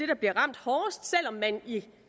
der bliver ramt hårdest selv om man i